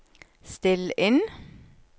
still inn